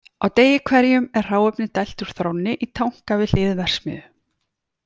Á degi hverjum er hráefni dælt úr þrónni í tanka við hlið verksmiðju.